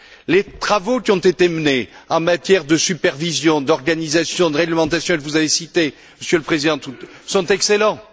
Les travaux qui ont été menés en matière de supervision, d'organisation, de réglementation, que vous avez cités, Monsieur le Président, sont excellents.